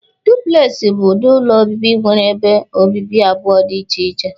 Dụpụlex bụ ụdị ụlọ obibi nwere ebe obibi abụọ dị iche iche.